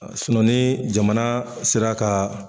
ni jamana sera kaaa.